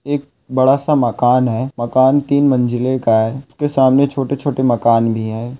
एक बड़ा सा मकान है मकान तीन मंजिले का है उसके सामने छोटे छोटे मकान भी है।